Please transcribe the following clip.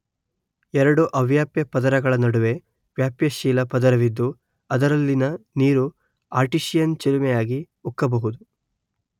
ಎರಡು ಅವ್ಯಾಪ್ಯ ಪದರಗಳ ನಡುವೆ ವ್ಯಾಪ್ಯಶೀಲ ಪದರವಿದ್ದು ಅದರಲ್ಲಿನ ನೀರು ಆರ್ಟೀಸಿಯನ್ ಚಿಲುಮೆಯಾಗಿ ಉಕ್ಕಬಹುದು